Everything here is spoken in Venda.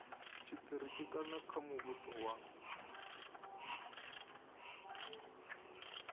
tshitiriki kana kha muvhuso wa